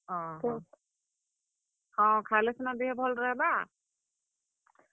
ହଁ ହଁ, ହଁ, ଖାଏଲେ ସିନା ଦେହେ ଭଲ ରହେବା।